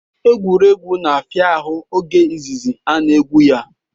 Egwuregwu na-afịa ahụ oge izizi a na-egwu ya